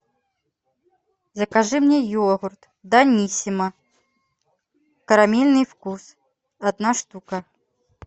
закажи мне йогурт даниссимо карамельный вкус одна штука